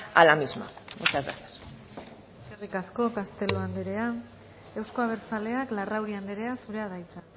a la misma muchas gracias eskerrik asko castelo andrea euzko abertzaleak larrauri andrea zurea da hitza